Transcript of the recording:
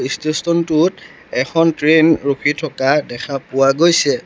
ষ্টেস্তন টোত এখন ট্ৰেইন ৰখি থকা দেখা পোৱা গৈছে।